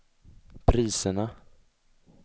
priserna